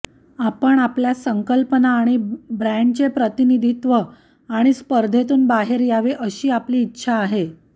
आपण आपल्या संकल्पना आणि ब्रॅण्डचे प्रतिनिधित्व आणि स्पर्धेतून बाहेर यावे अशी आपली इच्छा आहे